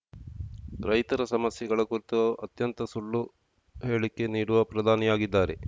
ರೈತರ ಸಮಸ್ಯೆಗಳ ಕುರಿತು ಅತ್ಯಂತ ಸುಳ್ಳು ಹೇಳಿಕೆ ನೀಡುವ ಪ್ರಧಾನಿಯಾಗಿದ್ದಾರೆ